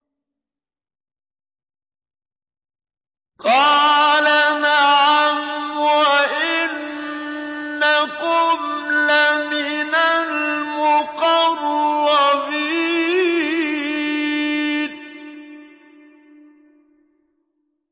قَالَ نَعَمْ وَإِنَّكُمْ لَمِنَ الْمُقَرَّبِينَ